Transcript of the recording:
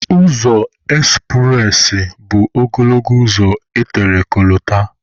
Ụzọ ekspụres bụ ogologo ụzọ etere kolota.